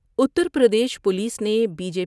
Uttar Pradesh police نے B J.